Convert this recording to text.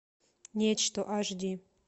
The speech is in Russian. нечто аш ди